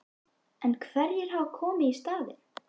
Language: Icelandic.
En hverjir hafa komið í staðinn?